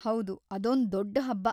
ಹೌದು, ಅದೊಂದ್ ದೊಡ್ಡ್ ಹಬ್ಬ.